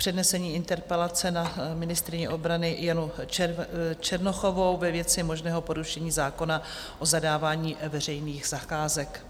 Přednese interpelaci na ministryni obrany Janu Černochovou ve věci možného porušení zákona o zadávání veřejných zakázek.